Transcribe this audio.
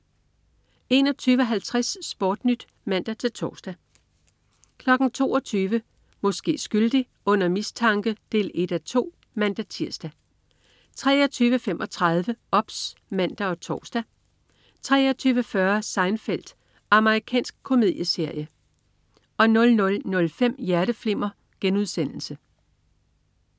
21.50 SportNyt (man-tors) 22.00 Måske skyldig. Under mistanke 1:2 (man-tirs) 23.35 OBS (man og tors) 23.40 Seinfeld. Amerikansk komedieserie 00.05 Hjerteflimmer*